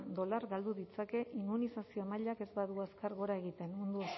dolar galdu ditzake immunizazio maila ez badu azkar gora egiten mundu